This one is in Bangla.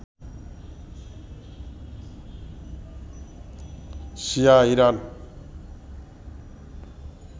শিয়া ইরান